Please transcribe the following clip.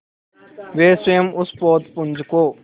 वे स्वयं उस पोतपुंज को